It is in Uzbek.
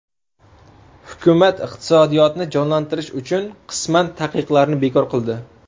Hukumat iqtisodiyotni jonlantirish uchun qisman taqiqlarni bekor qildi.